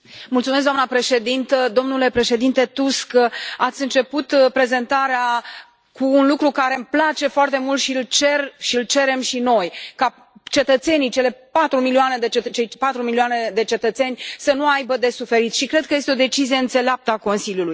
Doamnă președintă, domnule președinte Tusk, ați început prezentarea cu un lucru care îmi place foarte mult și îl cer și îl cerem și noi ca cetățenii, cele patru milioane de cetățeni să nu aibă de suferit și cred că este o decizie înțeleaptă a Consiliului.